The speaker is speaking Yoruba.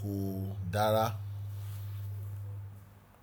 kò dára.